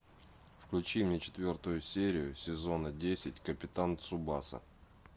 включи мне четвертую серию сезона десять капитан цубаса